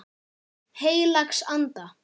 Heilags Anda.